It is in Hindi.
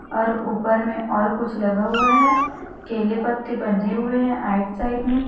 और ऊपर में और कुछ लगा हुवा हैं केले पत्ते बंधे हुए हैं आइट साइड में--